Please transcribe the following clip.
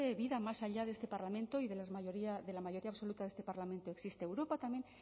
vida más allá de este parlamento y de la mayoría absoluta de este parlamento existe europa también